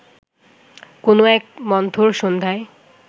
কোনো এক মন্থর সন্ধ্যায়